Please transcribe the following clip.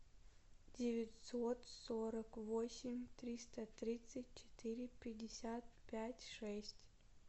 девятьсот сорок восемь триста тридцать четыре пятьдесят пять шесть